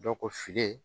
Dɔ ko fili